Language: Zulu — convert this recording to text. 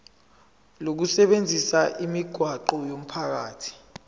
lokusebenzisa imigwaqo yomphakathi